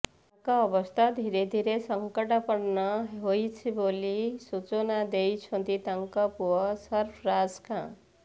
ତାଙ୍କ ଅବସ୍ଥା ଧିରେ ଧିରେ ସଙ୍କଟାପନ୍ନ ହେଉଛି ବୋଲି ସୂଚନା ଦେଇଛନ୍ତି ତାଙ୍କ ପୁଅ ସର୍ଫରାଜ ଖାଁ